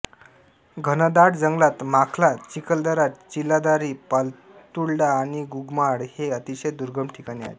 घनदाट जंगलात माखला चिखलदरा चीलादारी पातुल्डा आणि गुगमाळ ही अतिशय दुर्गम ठिकाणे आहेत